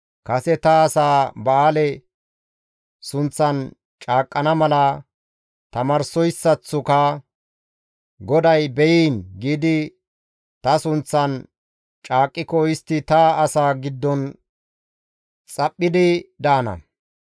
Kase ta asaa Ba7aale sunththan caaqqana mala tamaarsoyssaththoka, ‹GODAY be7iin!› giidi ta sunththan caaqqiko istti ta asaa giddon xaphphidi daana.